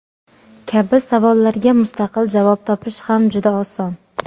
kabi savollarga mustaqil javob topish ham juda oson.